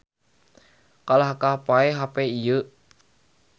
Kalahkah paeh hape ieu